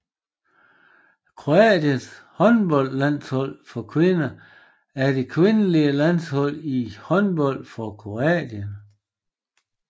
Kroatiens håndboldlandshold for kvinder er det kvindelige landshold i håndbold for Kroatien